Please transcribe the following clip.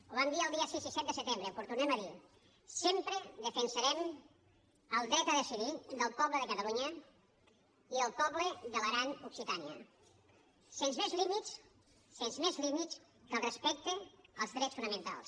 ho vam dir els dies sis i set de setembre però ho tornem a dir sempre defensarem el dret a decidir del poble de catalunya i del poble de l’aran occitània sens més límits sens més límits que el respecte als drets fonamentals